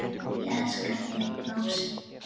Ég elska þig, Lási.